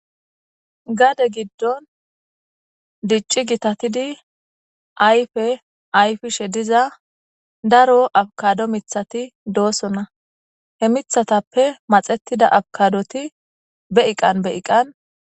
Gade giddon dicci gitatidi ayfe ayfishe diza daro abkado mithati doosona he mithatappe maxetida abkadoti be iqan be iqan.